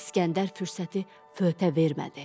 İsgəndər fürsəti föhqa vermədi.